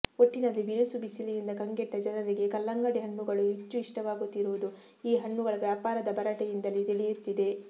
ಒಟ್ಟಿನಲ್ಲಿ ಬಿರುಸು ಬಿಸಿಲಿನಿಂದ ಕಂಗೆಟ್ಟ ಜನರಿಗೆ ಕಲ್ಲಂಗಡಿ ಹಣ್ಣುಗಳು ಹೆಚ್ಚು ಇಷ್ಟವಾಗುತ್ತಿರುವುದು ಈ ಹಣ್ಣುಗಳ ವ್ಯಾಪಾರದ ಭರಾಟೆಯಿಂದಲೇ ತಿಳಿಯುತ್ತಿದೆ